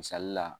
Misali la